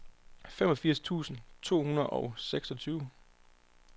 femogfirs tusind to hundrede og seksogtyve